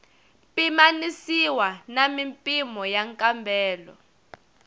pimanisiwa na mimpimo ya nkambelo